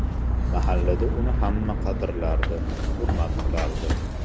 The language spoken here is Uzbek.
Mahallada uni hamma qadrlardi, hurmat qilardi.